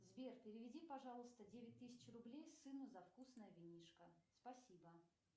сбер переведи пожалуйста девять тысяч рублей сыну за вкусное винишко спасибо